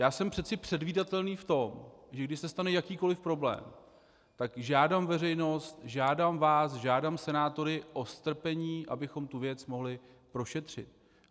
Já jsem přeci předvídatelný v tom, že když se stane jakýkoliv problém, tak žádám veřejnost, žádám vás, žádám senátory o strpení, abychom tu věc mohli prošetřit.